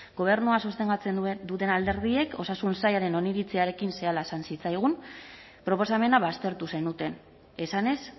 gobernua sostengatzen duten alderdiek osasun sailaren oniritziarekin esan zitzaigun proposamena baztertu zenuten esanez